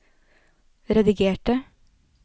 redigerte